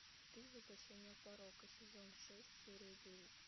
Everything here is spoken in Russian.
ты воплощение порока сезон шесть серия девять